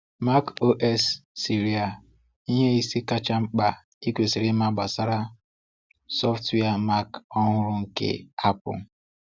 MacOS Sierra: Ihe ise kacha mkpa ị kwesịrị ịma gbasara sọftụwia Mac ọhụrụ nke Apple.